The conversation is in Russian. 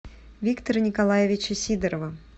виктора николаевича сидорова